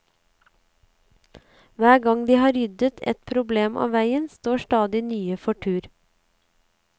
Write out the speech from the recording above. Hver gang de har ryddet ett problem av veien, står stadig nye for tur.